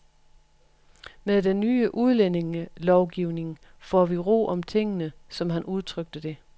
Med den nye udlændingelovgivning får vi ro om tingene, som han udtrykte det.